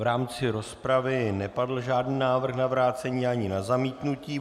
V rámci rozpravy nepadl žádný návrh na vrácení ani na zamítnutí.